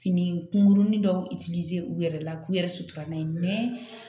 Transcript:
Fini kunguruni dɔw u yɛrɛ la k'u yɛrɛ sutura n'a ye